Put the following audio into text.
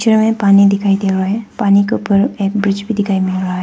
Picture में पानी दिखाई दे रहा है। पानी के ऊपर एक ब्रिज भी दिखाई मिल रहा है।